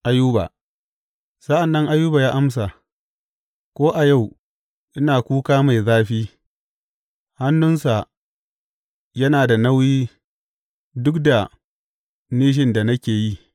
Ayuba Sa’an nan Ayuba ya amsa, Ko a yau, ina kuka mai zafi; hannunsa yana da nauyi duk da nishin da nake yi.